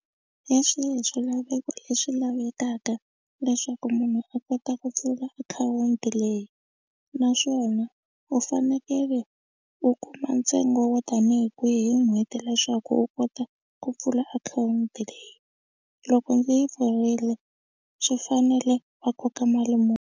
Hi swihi swilaveko leswi lavekaka leswaku munhu a kota ku pfula akhawunti leyi naswona u fanekele u ku kuma ntsengo wo tanihi kwihi hi n'hweti leswaku u kota ku pfula akhawunti leyi loko ndzi yi pfurile swi fanele va koka mali .